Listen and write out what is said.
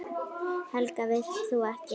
Helga: Vilt þú ekki hætta?